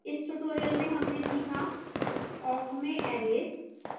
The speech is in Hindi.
in this tutorial we learnt aboutइस tutorial में हमने सीखा awk में arrays